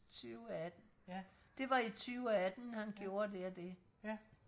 tyveatten det var i tyveatten han gjorde det og det